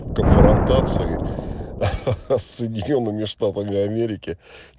конфронтации хахах с соединёнными штатами америки